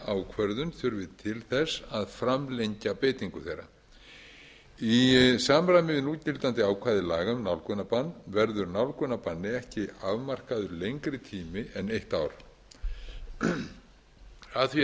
ákvörðun þurfi til þess að framlengja beitingu þeirra í samræmi við núgildandi ákvæði laga um nálgunarbann verður nálgunarbanni ekki afmarkaður lengri tími en eitt ár að því er